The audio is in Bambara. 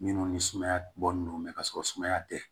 Minnu ni sumaya bɔlen don mɛ ka sɔrɔ sumaya tɛ